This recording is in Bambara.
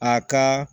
A ka